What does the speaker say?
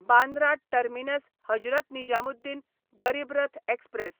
Bandra terminus Hazrat Nizamuddin Garib Rath express